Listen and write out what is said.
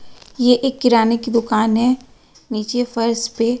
ये एक किराने की दुकान है नीचे फर्श पे--